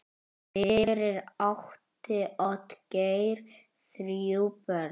Fyrir átti Oddgeir þrjú börn.